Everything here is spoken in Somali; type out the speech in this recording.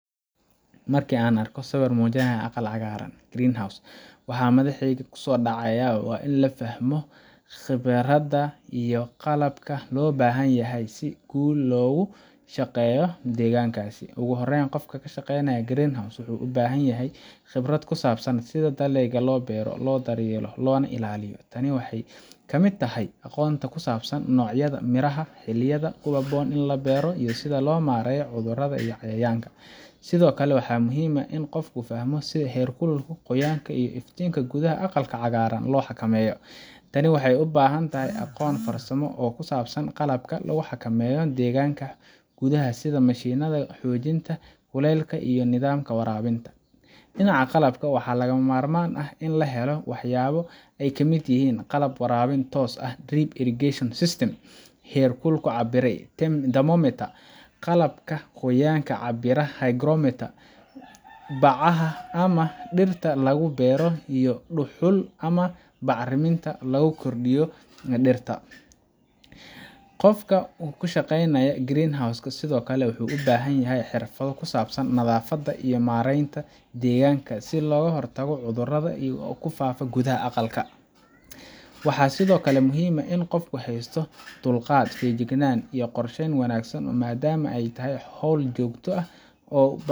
Marka aad aragto sawir muujinaya aqalka cagaaran greenhouse, waxaa madaxayga kusodacaya wa in la fahmo khibradda iyo qalabka loo baahan yahay si si guul leh loogu shaqeeyo deegaankaas. Ugu horreyn, qofka ka shaqeynaya greenhouse,-ka wuxuu u baahan yahay khibrad ku saabsan sida dalagyada loo beero, loo daryeelo, loona ilaaliyo. Tani waxay ka mid tahay aqoonta ku saabsan noocyada miraha, xilliyada ku habboon ee la beero, iyo sida loo maareeyo cudurrada iyo cayayaanka. Sidoo kale, waxaa muhiim ah in qofku fahmo sida heerkulka, qoyaanka, iyo iftiinka gudaha aqalka cagaaran loo xakameeyo. Tani waxay u baahan tahay aqoon farsamo oo ku saabsan qalabka lagu xakameeyo deegaanka gudaha sida mishiinnada qaboojinta, kuleylka, iyo nidaamka waraabinta. Dhinaca qalabka, waxaa lagama maarmaan ah in la helo waxyaabo ay ka mid yihiin: qalab waraabin toos ah drip irrigation system, heerkul cabbire thermometer, qalabka qoyaanka cabbira hygrometer, bacaha ama dhirta lagu beero, iyo dhuxul ama bacraminta lagu koriyo dhirta. Qofka ku shaqeynaya greenhouse,-ka sidoo kale wuxuu u baahan yahay xirfado ku saabsan nadaafadda iyo maaraynta deegaanka si looga hortago cudurada ku faafa gudaha aqalka. Waxaa sidoo kale muhiim ah in qofku haysto dulqaad, feejignaan, iyo qorsheyn wanaagsan maadaama ay tahay hawl joogto u baahan